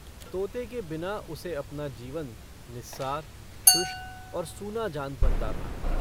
तोते के बिना उसे अपना जीवन निस्सार शुष्क और सूना जान पड़ता था।